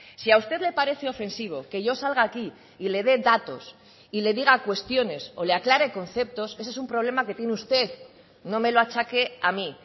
si a usted le parece ofensivo que yo salga aquí y le de datos y le diga cuestiones o le aclare conceptos ese es un problema que tiene usted no me lo achaque a mí